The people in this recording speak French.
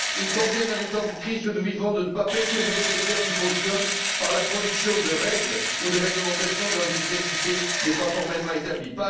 Il convient, dans les temps de crise que nous vivons, de ne pas perturber les secteurs qui fonctionnent par la production de règles ou de réglementations dont l'efficacité n'est pas formellement établie.